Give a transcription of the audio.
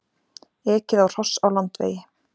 Ekið á hross á Landvegi